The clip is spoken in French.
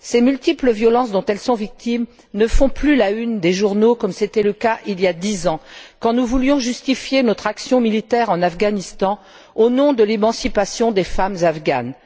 Ces multiples violences dont elles sont victimes ne font plus la une des journaux, comme c'était le cas il y a dix ans, quand nous voulions justifier notre action militaire en Afghanistan, au nom de l'émancipation des femmes afghanes.